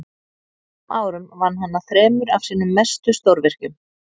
á þessum árum vann hann að þremur af sínum mestu stórvirkjum